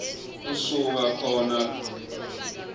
usuka khona lomkhicito